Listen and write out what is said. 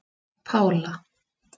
Pála